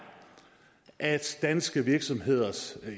at danske virksomheders